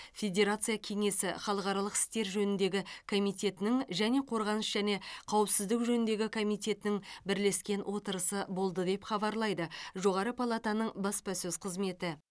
федерация кеңесі халықаралық істер жөніндегі комитетінің және қорғаныс және қауіпсіздік жөніндегі комитетінің бірлескен отырысы болды деп хабарлайды жоғары палатаның баспасөз қызметі